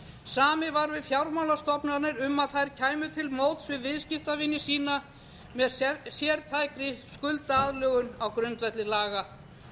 samið var við fjármálastofnanir um að þær kæmu til móts við viðskiptavini sína með sértækri skuldaaðlögun á grundvelli laga